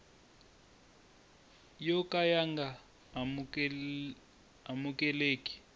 yo ka ya nga amukeleki